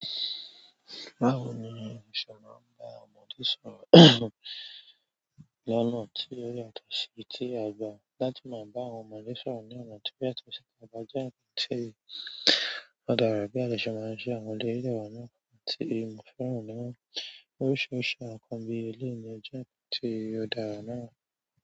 Báwo ni o ṣe máa ń bá ọmọdé sọ̀rọ̀ lọ́nà tí ó yàtọ̀ sí ti àgbà? Láti máa bá àwọn ọmọdé sọ̀rọ̀ ní ọ̀nà tí ó yàtọ̀ sí ti àgbà jẹ́ ǹkan tí ó dára bí à dẹ̀ se maa n ṣẹ àwọn eleyii dẹ wà nínú àwọn nkan ti mo fẹ́ràn nínú oríṣiríṣi àwọn ǹkán bi eléèyi jẹ́ ǹkan tí ó dára náà.